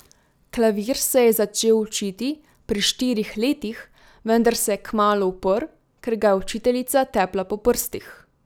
Klavir se je začel učiti pri štirih letih, vendar se je kmalu uprl, ker ga je učiteljica tepla po prstih.